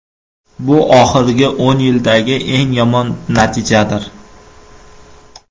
Bu oxirgi o‘n yildagi eng yomon natijadir.